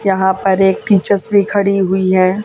यहां पर एक टीचर्स भी खड़ी हुई हैं।